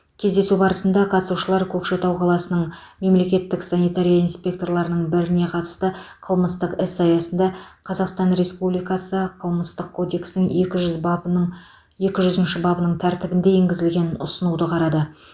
кездесу барысында қатысушылар көкшетау қаласының мемлекеттік санитария инспекторларының біріне қатысты қылмыстық іс аясында қазақстан республикасы қылмыстық кодексінің екі жүз бабының екі жүзінші бабының тәртібінде енгізілген ұсынуды қарады